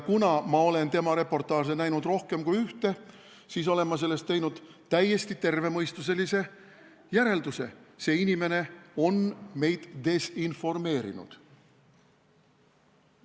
Kuna ma olen näinud rohkem kui ühte tema reportaaži, siis olen ma sellest teinud täiesti tervemõistuselise järelduse: see inimene on meid desinformeerinud.